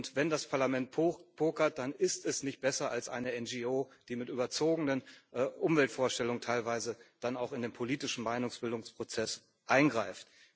Und wenn das Parlament pokert, dann ist es nicht besser als eine NGO, die mit überzogenen Umweltvorstellungen teilweise dann auch in den politischen Meinungsbildungsprozess eingreift.